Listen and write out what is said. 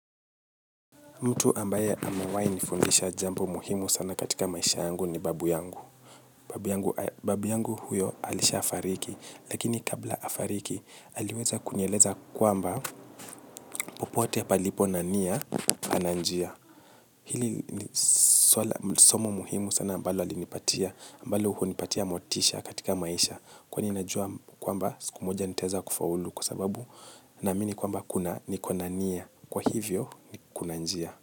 Mtu ambaye amewahi nifundisha jambo muhimu sana katika maisha yangu ni babu yangu. Babu yangu huyo alisha fariki, lakini kabla afariki, aliweza kunieleza kwamba popote palipo na nia, pana njia. Hili ni somo muhimu sana ambalo alinipatia, ambalo hunipatia motisha katika maisha, kwani najua kwamba siku moja nitaeza kufaulu kwa sababu naamini kwamba kuna niko na nia, kwa hivyo ni kuna njia.